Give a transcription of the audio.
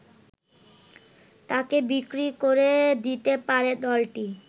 তাকে বিক্রি করে দিতে পারে দলটি